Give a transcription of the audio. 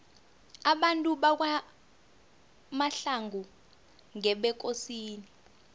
abantu bakwamahlangu ngebekosini